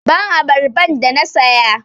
Give me the pineapple i bought!